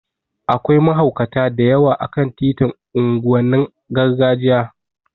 Akwai mahaukata da yawa a kan titin unguwannin gargajiya